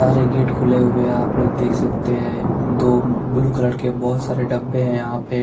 सारे गेट खुले हुए है आप लोग देख सकते है दो ब्लू कलर के बोहोत सारे डब्बे है यहाँ पे --